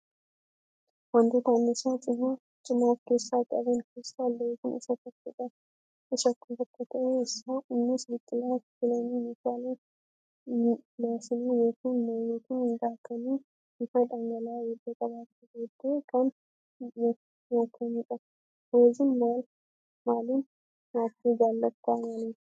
Wantoota anniisaa cimaa of keessaa qaban keessaa laawuziin isa tokko ta'ee innis biqilaa ocholoonii maashinaan yookaan mooyyeetti daakanii bifa dhangala'aa erga qabaatee booddee kan nyaatamudha. Laawuzii maaliin nyaachuu jaallattaa? Maaliif?